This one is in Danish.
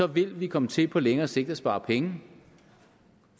vil vi komme til på længere sigt at spare penge